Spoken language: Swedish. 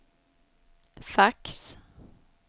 fax